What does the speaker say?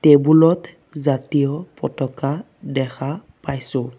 Table ত জাতীয় পতাকা দেখা পাইছোঁ।